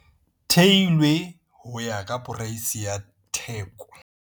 Theilwe ho ya ka poreisi ya theko.